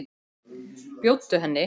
Bjóddu henni.